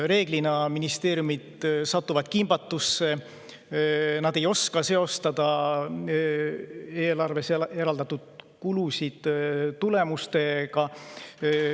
Enamasti satuvad ministeeriumid kimbatusse, nad ei oska seostada eelarves kulusid tulemustega.